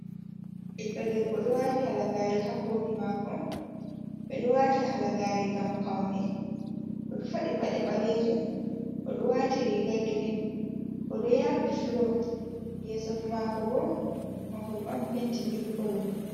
Ɓiɗɗo debbo do wati halagare ha koli mako ɓeɗo wata halagare ngam paune oɗo faɗi paɗe balejum oɗo wati riga girin oɗo yaɓi fulo yeso mako bo mahol on penti mil kolo.